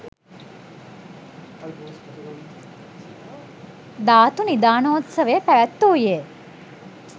ධාතු නිධානෝත්සවය පැවැත්වූයේ